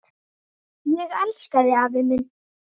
Ég elska þig, afi minn.